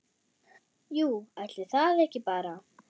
Jú, ætli það ekki bara!